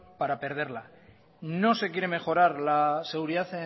para perderla no se quiere mejorar la seguridad